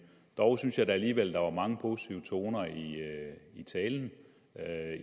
dog synes jeg at der alligevel var mange positive toner i i talen